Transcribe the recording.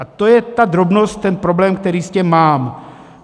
A to je ta drobnost, ten problém, který s tím mám.